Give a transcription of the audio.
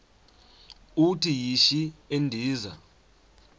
uthi yishi endiza